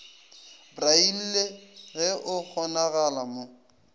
braille ge go kgonagala mo